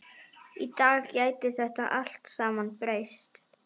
Í dag gæti þetta allt saman breyst.